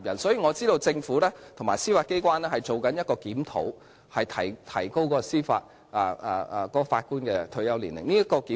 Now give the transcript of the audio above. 所以，我知道政府和司法機關正進行檢討，提高法官的退休年齡。